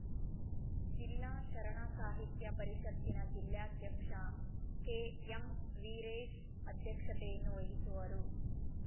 ಜಿಲ್ಲಾ ಶರಣ ಸಾಹಿತ್ಯ ಪರಿಷತ್ತಿನ ಜಿಲ್ಲಾಧ್ಯಕ್ಷ ಕೆಎಂ ವೀರೇಶ್‌ ಅಧ್ಯಕ್ಷತೆಯನ್ನು ವಹಿಸುವರು